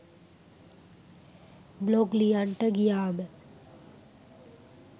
blog ලියන්ට ගියාම